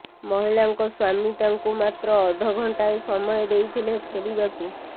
ମହିଳାଙ୍କ ସ୍ବାମୀ ତାଙ୍କୁ ମାତ୍ର ଅଧଘଣ୍ଟାଏ ସମୟ ଦେଇଥିଲେ ଫେରିବାକୁ